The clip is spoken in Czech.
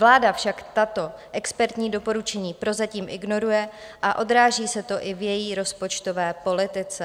Vláda však tato expertní doporučení prozatím ignoruje a odráží se to i v její rozpočtové politice.